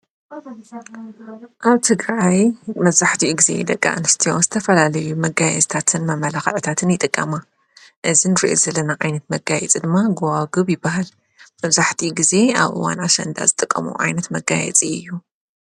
ኣብ ትግራይ መብዛሕቲኡ ጊዜ ደቂ ኣንስትዮ ዝተፈላለዩ መጋይ ፅታትን መመላኽዕታትን ይጥቀማ እዚ ንሪዖ ዘለና ዓይነት መጋየፂ ድማ ጐዋግብ ይበሃል መዛሕቲኡ ጊዜ ኣብ እዋን ኣሽንዳ ዝጥቀማሉ ዓይነት መጋየጽ እዩ።